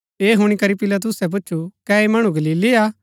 ऐह हुणी करी पिलातुसै पुछु कै ऐह मणु गलीली हा